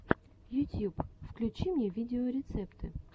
ютьюб включи мне видеорецепты